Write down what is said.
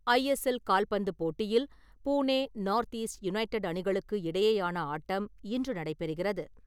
ISL கால்பந்து போட்டியில் Pune North East United அணிகளுக்கு இடையேயான ஆட்டம் இன்று நடைப்பெறுகிறது.